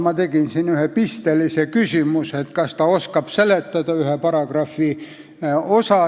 Ma esitasin siin ühe pistelise küsimuse, kas ta oskab seletada ühte paragrahvi.